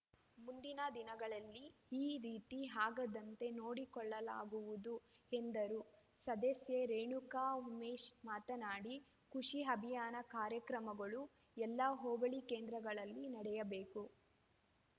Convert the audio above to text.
ಮುಂದಿನ ದಿನಗಳಲ್ಲಿ ಈ ರೀತಿ ಆಗದಂತೆ ನೋಡಿಕೊಳ್ಳಲಾಗುವುದು ಎಂದರು ಸದಸ್ಯೆ ರೇಣುಕಾ ಉಮೇಶ್‌ ಮಾತನಾಡಿ ಕೃಷಿ ಅಭಿಯಾನ ಕಾರ್ಯಕ್ರಮಗಳು ಎಲ್ಲ ಹೋಬಳಿ ಕೇಂದ್ರಗಳಲ್ಲಿ ನಡೆಯಬೇಕು